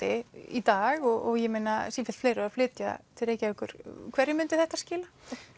í dag og sífellt fleiri eru að flytja til Reykjavíkur hverju myndi þetta skila